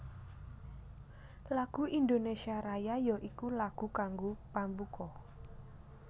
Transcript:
Lagu Indonésia Raya ya iku lagu kanggo pambuka